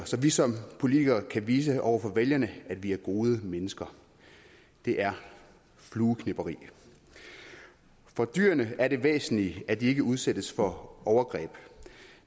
så vi som politikere kan vise over for vælgerne at vi er gode mennesker det er flueknepperi for dyrene er det væsentlige at de ikke udsættes for overgreb